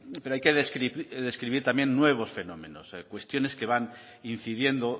pero hay que describir también nuevos fenómenos cuestiones que van incidiendo